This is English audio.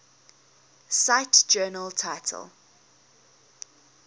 cite journal title